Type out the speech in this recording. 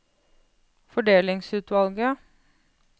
fordelingsutvalget